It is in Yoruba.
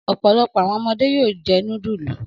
Ọ̀pọ̀lọpọ̀ àwọn ọmọdé yóò jẹ núdúlù.